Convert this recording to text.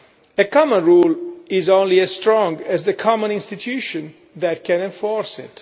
A common rule is only as strong as the common institution that can enforce